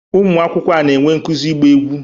Ụmụ akwụkwọ a na-enwe nkuzi ịgba egwu